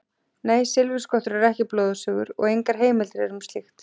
Nei, silfurskottur eru ekki blóðsugur og engar heimildir eru um slíkt.